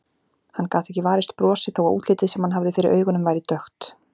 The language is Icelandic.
Hann gat ekki varist brosi þó að útlitið sem hann hafði fyrir augunum væri dökkt.